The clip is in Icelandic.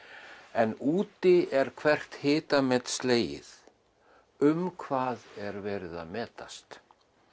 en úti er hvert hitamet slegið um hvað er verið að metast